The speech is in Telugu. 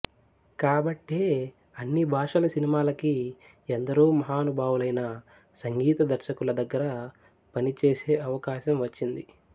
కాబట్టే అన్ని భాషల సినిమాలకీ ఎందరో మహానుభావులైన సంగీతదర్శకుల దగ్గర పనిచేసే అవకాశం వచ్చింది